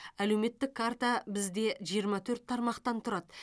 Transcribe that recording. әлеуметтік карта бізде жиырма төрт тармақтан тұрады